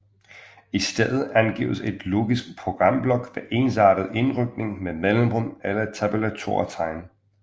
I stedet angives en logisk programblok ved ensartet indrykning med mellemrum eller tabulatortegn